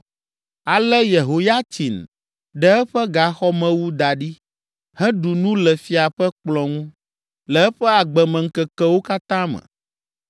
Ale Yehoyatsin ɖe eƒe gaxɔmewu da ɖi, heɖu nu le fia ƒe kplɔ̃ ŋu le eƒe agbemeŋkekewo katã me.